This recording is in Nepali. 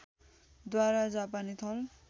द्वारा जापानी थल